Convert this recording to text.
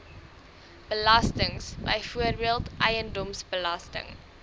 belastings byvoorbeeld eiendomsbelasting